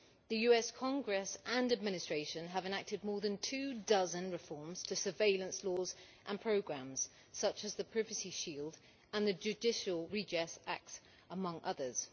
The US Congress and Administration have enacted more than two dozen reforms to surveillance laws and programmes such as the Privacy Shield and the Judicial Redress Acts, among others.